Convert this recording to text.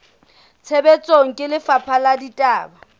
tshebetsong ke lefapha la ditaba